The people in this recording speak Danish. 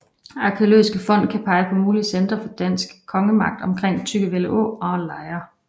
Arkæologiske fund kan pege på mulige centre for en dansk kongemagt omkring Tryggevælde Å og omkring Lejre